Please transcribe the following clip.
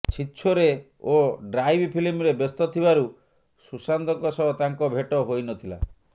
ଛିଛୋରେ ଓ ଡ୍ରାଇଭ୍ ଫିଲ୍ମରେ ବ୍ୟସ୍ତ ଥିବାରୁ ସୁଶାନ୍ତଙ୍କ ସହ ତାଙ୍କ ଭେଟ ହୋଇ ନ ଥିଲା